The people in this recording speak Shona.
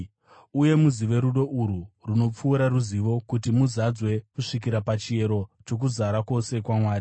uye muzive rudo urwu runopfuura ruzivo, kuti muzadzwe kusvikira pachiyero chokuzara kwose kwaMwari.